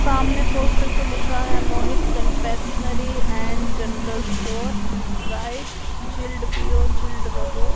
सामने पोस्टर पे लिखा है Mohit confectionery and general store Sprite chilled पिओ चिल्ड रहो।